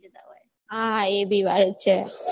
હા હા એબી છે